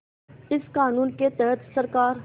इस क़ानून के तहत सरकार